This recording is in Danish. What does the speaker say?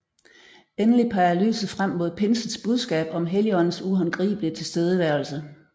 Endelig peger lyset frem mod pinsens budskab om Helligåndens uhåndgribelige tilstedeværelse